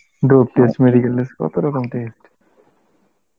dope test, medical test কত রকম test